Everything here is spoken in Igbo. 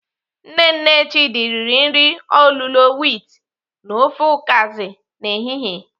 Nne nne Chidi riri nri olulo wit na ofe ukazi n'ehihie.